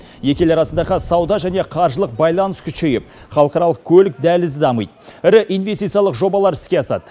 екі ел арасындағы сауда және қаржылық байланыс күшейіп халықаралық көлік дәлізі дамиды ірі инвестициялық жобалар іске асады